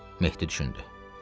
Mehdi düşündü.